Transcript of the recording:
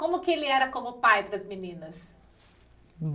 Como que ele era como pai para as meninas?